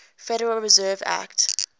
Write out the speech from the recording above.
federal reserve act